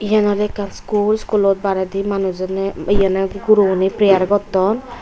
iyen oley ekkan school schoolot baredi manujuney iyenet guroguney prayer gotton.